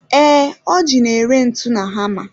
Ee, Ọji n'ere ntu na hama.